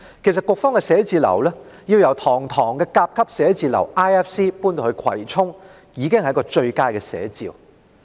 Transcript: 其實，積金局的辦公室由堂皇的 IFC 甲級寫字樓遷到葵涌，已是最佳的寫照。